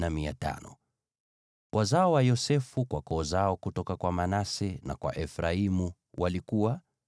Wazao wa Yosefu kwa koo zao kutoka kwa Manase na kwa Efraimu walikuwa: